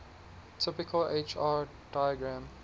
typical hr diagram